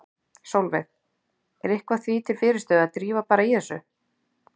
Sólveig: Er eitthvað því til fyrirstöðu að drífa bara í þessu?